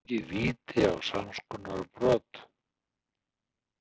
Hefðum við fengið víti á samskonar brot?